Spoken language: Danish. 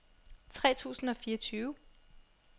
tre tusind og fireogtyve